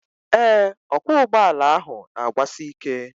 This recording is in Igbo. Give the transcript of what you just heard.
Ee, ọkwọụgbọala ahụ na-agbasi ike